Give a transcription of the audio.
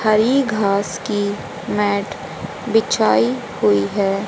हरी घास की मॅट बिछाई हुई है।